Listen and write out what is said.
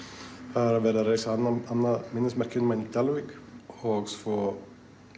það er verið að reisa annað minnismerki um hana í Dalvík og svo